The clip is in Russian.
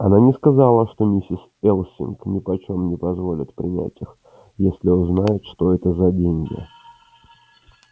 она не сказала что миссис элсинг нипочём не позволит принять их если узнает что это за деньги